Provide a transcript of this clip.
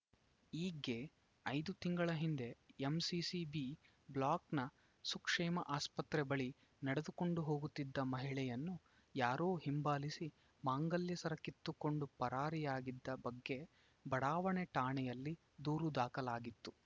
ಈಕೆ ಐದು ತಿಂಗಳ ಹಿಂದೆ ಎಂಸಿಸಿ ಬಿ ಬ್ಲಾಕ್‌ನ ಸುಕ್ಷೇಮ ಆಸ್ಪತ್ರೆ ಬಳಿ ನಡೆದುಕೊಂಡು ಹೋಗುತ್ತಿದ್ದ ಮಹಿಳೆಯನ್ನು ಯಾರೋ ಹಿಂಬಾಲಿಸಿ ಮಾಂಗಲ್ಯ ಸರ ಕಿತ್ತುಕೊಂಡು ಪರಾರಿಯಾಗಿದ್ದ ಬಗ್ಗೆ ಬಡಾವಣೆ ಠಾಣೆಯಲ್ಲಿ ದೂರು ದಾಖಲಾಗಿತ್ತು